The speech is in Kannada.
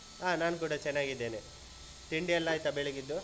ಹಾ ನಾನೂ ಕೂಡ ಚೆನ್ನಾಗಿದ್ದೇನೆ. ತಿಂಡಿಯೆಲ್ಲ ಆಯ್ತಾ ಬೆಳಗಿದ್ದು?